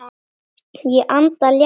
Ég anda léttar.